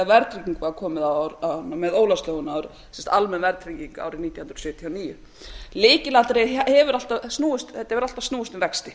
verðtrygging var komin á með ólafslögunum almenn verðtrygging árið nítján hundruð sjötíu og níu þetta hefur alltaf snúist um vexti